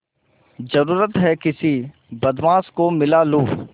जरुरत हैं किसी बदमाश को मिला लूँ